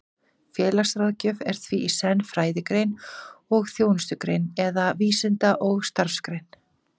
Félagsráðgjöf er því í senn fræðigrein og þjónustugrein, eða vísinda- og starfsgrein.